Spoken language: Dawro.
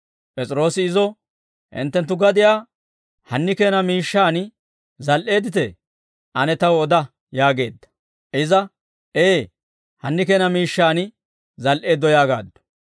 P'es'iroosi izo, «Hinttenttu gadiyaa hanni keena miishshaan zal"eedditee? Ane taw oda» yaageedda. Iza, «Ee hanni keena miishshaan zal"eeddo» yaagaaddu.